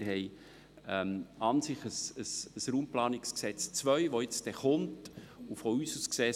Das RPG 2 steht vor der Tür, und wir sollten abwarten.